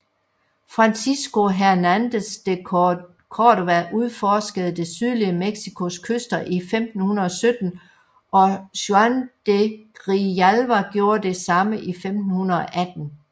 Francisco Hernández de Córdoba udforskede det sydlige Mexicos kyster i 1517 og Juan de Grijalva gjorde det samme i 1518